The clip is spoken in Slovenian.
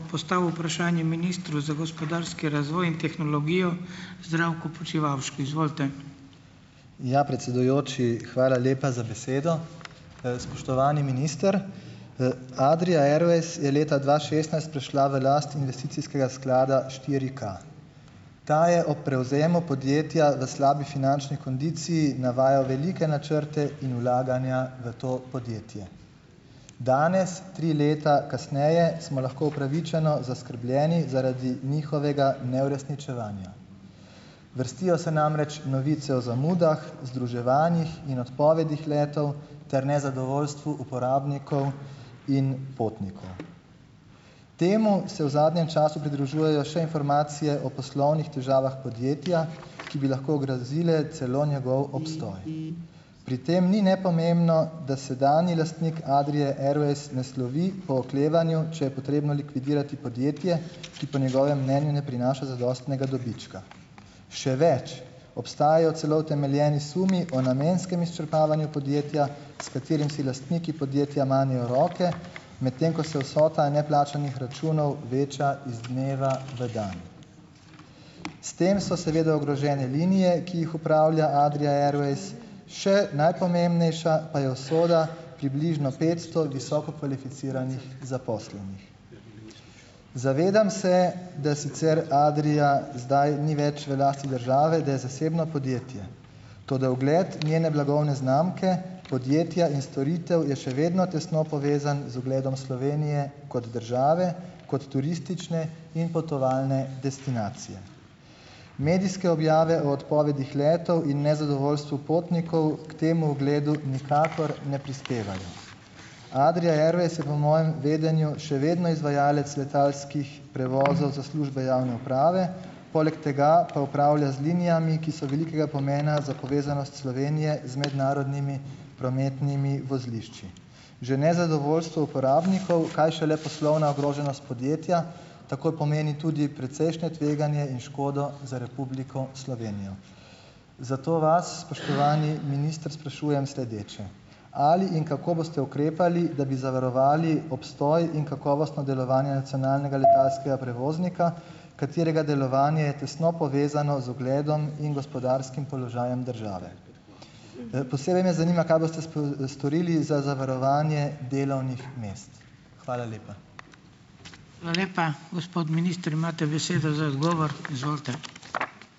Postavil vprašanje ministru za gospodarski razvoj in tehnologijo, Zdravku Počivalšku, izvolite. Ja, predsedujoči, hvala lepa za besedo. spoštovani minister. Adria Airways je leta dva šestnajst prišla v last investicijskega sklada štiriK. Ta je ob prevzemu podjetja na slabi finančni kondiciji navajal velike načrte in vlaganja v to podjetje. Danes, tri leta kasneje, smo lahko upravičeno zaskrbljeni zaradi njihovega neuresničevanja. Vrstijo se namreč novice o zamudah, združevanjih in odpovedih letal ter nezadovoljstvu uporabnikov in potnikov. Temu se v zadnjem času pridružujejo še informacije o poslovnih težavah podjetja, ki bi lahko ogrozile celo njegov obstoj . Pri tem ni nepomembno, da sedanji lastnik Adrie Airways ne slovi po oklevanju, če je potrebno likvidirati podjetje, ki po njegovem mnenju ne prinaša zadostnega dobička. Še več. Obstajajo celo utemeljeni sumi o namenskem izčrpavanju podjetja , s katerim si lastniki podjetja manejo roke , medtem ko se vsota neplačanih računov veča iz dneva v dan . S tem so seveda ogrožene linije, ki jih upravlja Adria Airways, še najpomembnejša pa je usoda približno petsto visoko kvalificiranih zaposlenih . Zavedam se, da sicer Adria zdaj ni več v lasti države, da je zasebno podjetje. Toda ugled njene blagovne znamke podjetja in storitev je še vedno tesno povezan z ugledom Slovenije kot države, kot turistične in potovalne destinacije. Medijske objave o odpovedih letal in nezadovoljstvo potnikov k temu ugledu nikakor ne prispevajo . Adria Airways je po mojem vedenju še vedno izvajalec letalskih prevozov za službe javne uprave, poleg tega pa upravlja z linijami, ki so velikega pomena za povezanost Slovenije z mednarodnimi prometnimi vozlišči. Že nezadovolsto uporabnikov, kaj šele poslovna ogroženost podjetja, takoj pomeni tudi precejšne tveganje in škodo za Republiko Slovenijo. Zato vas, spoštovani minister, sprašujem sledeče: Ali in kako boste ukrepali, da bi zavarovali obstoj in kakovostno delovanje nacionalnega letalskega prevoznika, katerega delovanje je tesno povezano z ugledom in gospodarskim položajem države ? posebej me zanima, kaj boste storili za zavarovanje delovnih mest. Hvala lepa. Hvala lepa. Gospod minister, imate besedo za odgovor, izvolite.